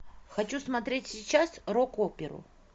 хочу смотреть сейчас рок оперу